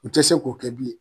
U tɛ se k'o kɛ bilen.